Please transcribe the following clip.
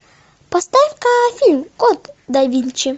поставь ка фильм код да винчи